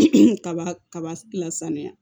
kaba kaba lasaniya